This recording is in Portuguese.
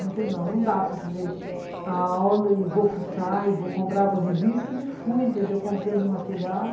Dizer não, não dá para fazer a aula e vou fuçar e vou comprar as revistas e fui, entendeu, comprando material.